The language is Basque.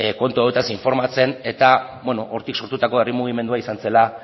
kontu hauetaz informatzen eta hortik sortutako herri mugimendua izan zela